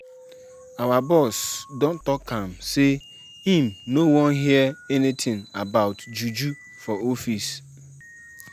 Our boss don tok am sey im no wan hear anytin about juju for office.